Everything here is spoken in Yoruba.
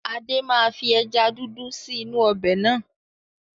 Adé máa fi ẹja dúdú sì inú ọbẹ̀ náà.